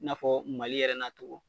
I n'a fɔ Mali yɛrɛ n'a cogo